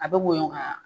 A bɛ woyo kaa